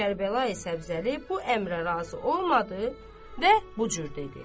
Kərbəlayi Səbzəli bu əmrə razı olmadı və bu cür dedi: